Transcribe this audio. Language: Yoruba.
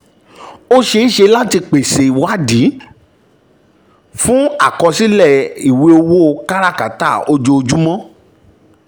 ó ṣe é ṣe láti pèsè ìwádìí fún àkọsílẹ̀ ìwé ìwé owó káràkátà ojoojúmọ́.